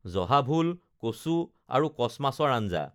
জহা ভোল, কচু আৰু কছ মাছৰ আঞ্জা